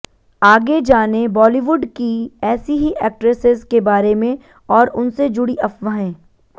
आगे जानें बॉलीवुड की ऐसी ही एक्ट्रेसेस के बारे में और उनसे जुड़ी अफ्वाहें